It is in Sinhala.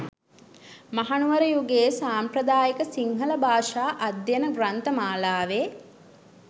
මහනුවර යුගයේ සාම්ප්‍රදායික සිංහල භාෂා අධ්‍යයන ග්‍රන්ථ මාලාවේ